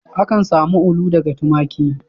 Akan samu ulu daga tumaki.